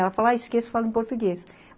Ela fala, Ah, esqueço, e falo em português.